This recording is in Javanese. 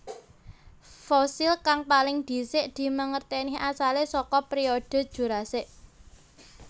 Fosil kang paling dhisik dimangertèni asalé saka periode Jurasik